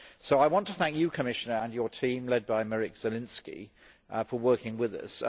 I want to thank you, Commissioner, and your team led by Miroslaw Zielinski, for working with us.